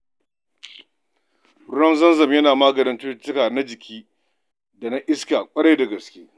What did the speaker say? Ruwan zamzam yana maganin cutuka na jiki da na iska ƙwarai da gaske.